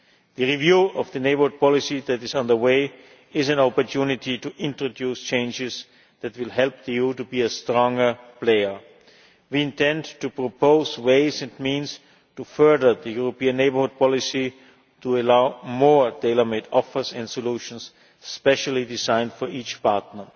The review of the Neighbourhood Policy that is on the way is an opportunity to introduce changes that will help the EU to be a stronger player. We intend to propose ways and means to further the European Neighbourhood Policy, to allow more tailor made offers and solutions specially designed for each partner.